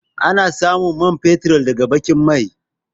A na samun man fetur ne daga baƙin mai